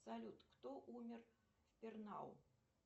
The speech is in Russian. салют кто умер в пернау